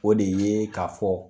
O de ye ka fɔ